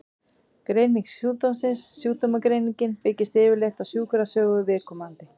Greining sjúkdómsins Sjúkdómsgreiningin byggist yfirleitt á sjúkrasögu viðkomandi.